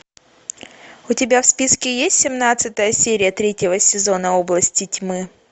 у тебя в списке есть семнадцатая серия третьего сезона области тьмы